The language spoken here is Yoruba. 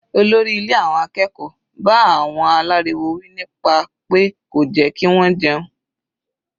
Olórí ilé àwọn akẹ́kọ̀ọ́ bá àwọn aláriwo wí nípa pé kò jẹ́ kí wọ́n jẹun.